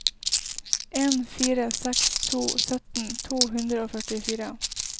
en fire seks to sytten to hundre og førtifire